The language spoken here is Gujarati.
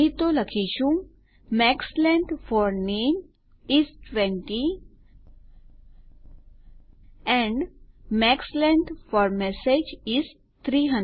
નહી તો લખીશું max length for name is 20 and max length for message is 300